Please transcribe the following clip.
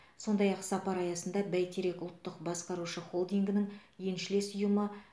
сондай ақ сапар аясында бәйтерек ұлттық басқарушы холдингінің еншілес ұйымы